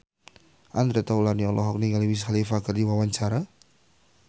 Andre Taulany olohok ningali Wiz Khalifa keur diwawancara